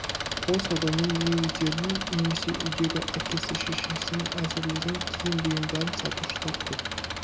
қол саудамен не өздерінің немесе үйдегі әкесі шешесінің әзірлеген киім-бұйымдарын сатушылар көп